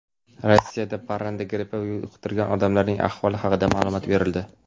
Rossiyada parranda grippi yuqtirgan odamlarning ahvoli haqida ma’lumot berildi.